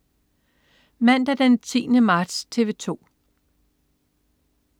Mandag den 10. marts - TV 2: